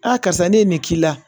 Aa karisa ne ye nin k'i la